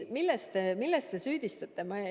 Milles te politseid süüdistate?